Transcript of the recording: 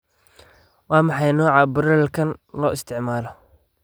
Waa maxay nooca broiler-ka aan isticmaalo?